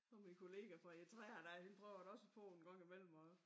Og min kollega fra Eritrea dér hende prøver jeg da også på en gang i mellem og